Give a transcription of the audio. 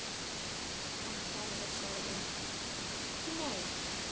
En kerfið sagði NEI.